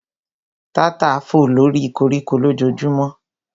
Tata fò lóri koríko lójojúmọ́